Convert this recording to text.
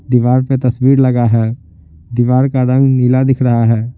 दीवार पे तस्वीर लगा है दीवार का रंग नीला दिख रहा है।